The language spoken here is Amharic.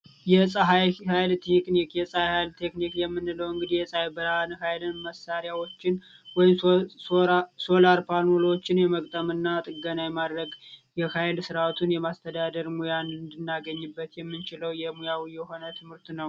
የፀሀይ ሀይል ቴክኒክ የፀሀይ ሀይል ቴክኒክ የምንለው እንግዲህ የሳይበር ሃይል መሳሪያዎችን ወይም ሶላር ፓኖሎችን የመግጠምና ጥገና የማድረግ የኃይል ስርአቱን የማስተዳደር ሙያን እንድናገኝበት የምንችለው የሙያው የሆነ ትምህርት ነው።